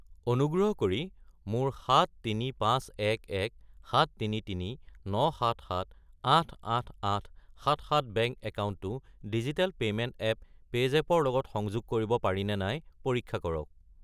অনুগ্ৰহ কৰি মোৰ 7351173397788877 বেংক একাউণ্টটো ডিজিটেল পে'মেণ্ট এপ পে'জেপ ৰ লগত সংযোগ কৰিব পাৰিনে নাই পৰীক্ষা কৰক।